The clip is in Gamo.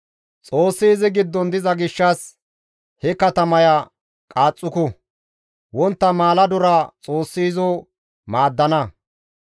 Xoossi izi giddon diza gishshas he katamaya qaaxxuku; wontta maaladora Xoossi izo maaddana.